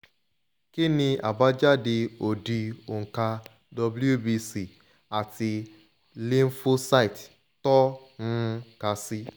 kini abadajade odi onka wbc ati lymphocyte to um ka si